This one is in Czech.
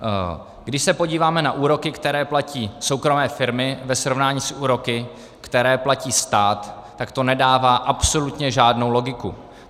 Když se podíváme na úroky, které platí soukromé firmy, ve srovnání s úroky, které platí stát, tak to nedává absolutně žádnou logiku.